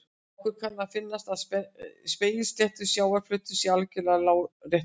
Okkur kann að finnast að spegilsléttur sjávarflöturinn sé algjörlega láréttur.